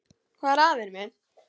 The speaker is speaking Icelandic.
Hvað er að, vinur minn?